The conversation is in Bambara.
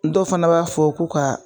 Dɔw fana b'a fɔ ko ka